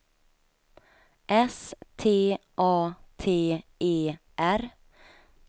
S T A T E R